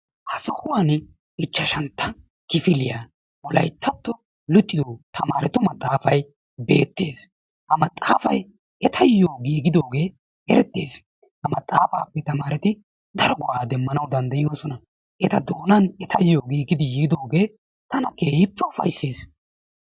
Ha sohuwani ichchashantta kifiliyaa wolayttato luxiyo tamarettu maxaafaay beetes. Ha maxaafaay etayo giigidoge ereetes. Ha maxaafaape tamaretti daro go'a demmanawu danddayosona. Eta doonan etayo giigidi yidoge tana keehippe ufaysses.